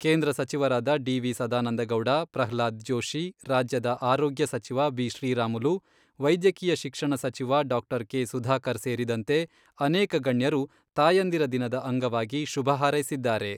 ಕೇಂದ್ರ ಸಚಿವರಾದ ಡಿ.ವಿ.ಸದಾನಂದಗೌಡ, ಪ್ರಹ್ಲಾದ್ ಜೋಷಿ, ರಾಜ್ಯದ ಆರೋಗ್ಯ ಸಚಿವ ಬಿ.ಶ್ರೀರಾಮುಲು, ವೈದ್ಯಕೀಯ ಶಿಕ್ಷಣ ಸಚಿವ ಡಾ.ಕೆ.ಸುಧಾಕರ್ ಸೇರಿದಂತೆ ಅನೇಕ ಗಣ್ಯರು ತಾಯಂದಿರ ದಿನದ ಅಂಗವಾಗಿ ಶುಭ ಹಾರೈಸಿದ್ದಾರೆ.